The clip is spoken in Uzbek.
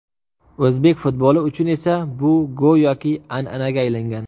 O‘zbek futboli uchun esa bu go‘yoki an’anaga aylangan.